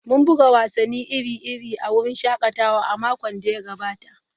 Mun buga wasanni iri-iri a wurin shakatawa a makon da ya gabata.